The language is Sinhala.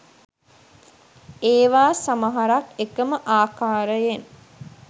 ඒවා සමහරක් එකම ආකාරයෙන්